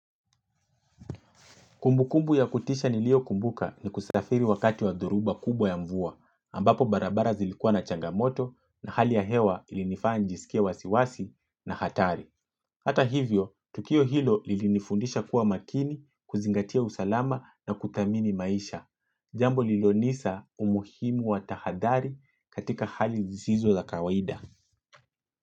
Kumbukumbu ya kutisha niliokumbuka ni kusafiri wakati wa dhoruba kubwa ya mvua, ambapo barabara zilikua na changamoto na hali ya hewa ilinifanya njisikie wasiwasi na hatari. Hata hivyo, Tukio Hilo lilinifundisha kuwa makini kuzingatia usalama na kuthamini maisha. Jambo lilonisa umuhimu wa tahadhari katika hali zizizo za kawaida.